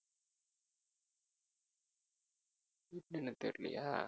என்ன தெரியலையா